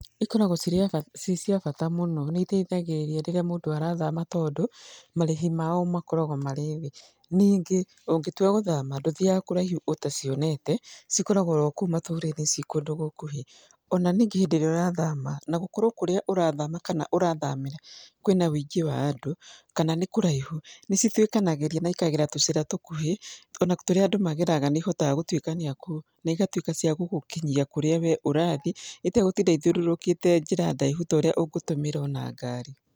Ikoragwo ci cia bata mũno nĩ iteithagĩrĩria mũndũ arathama tondũ marĩhi mao makoragwo marĩ thĩ. Ningĩ ũngĩtua gũthama ndũthiaga kuraihu utacionete cikoragweo orokũu matũra~inĩ cikũndũ gũkuhĩ. Ona ningĩ hĩndĩ ĩrĩa ũrathama na gũkorwo kũrĩa urathama kana ũrathamĩra kwĩna wũingĩ wa andũ kana nĩ kũraihu nĩ cituĩkanagĩria na ikagera tũcira tũkuhĩ ona tũria andũ mageraga nĩ ihotaga gũtuikania kũu na igatuĩka cia gũgũkinyia kũrĩa we ũrathi itegũtinda ĩthiũrũrũkĩte njĩra ndaihu ta ũrĩa ũngĩtũmĩra ona ngari.